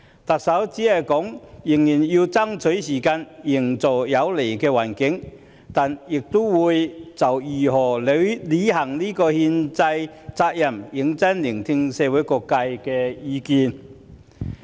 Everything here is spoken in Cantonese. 特首說仍要爭取時間，營造有利的環境，但亦會就如何履行這項憲制責任，認真聆聽社會各界的意見。